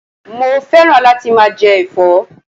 Mo féràn láti máa je èfó